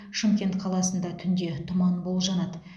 шымкент қаласында түнде тұман болжанады